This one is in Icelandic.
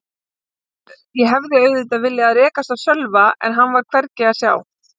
Ég hefði auðvitað viljað rekast á Sölva en hann var hvergi að sjá.